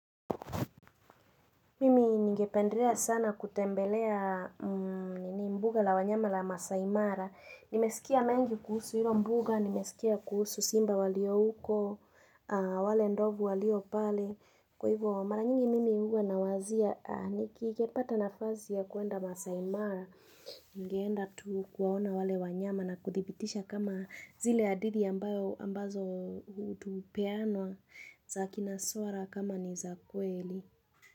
Mimi ningependelea sana kutembelea mbuga la wanyama la Masai mara. Nimesikia mengi kuhusu hilo mbuga, nimesikia kuhusu simba walio huko, wale ndovu walio pale. Kwa hivyo mara nyingi mimi huwa nawazia nikipata nafasi ya kuenda Masai mara. Ningeenda tu kuwaona wale wanyama na kuthibitisha kama zile hadithi ambazo hupeanwa za kina swara kama ni za kweli.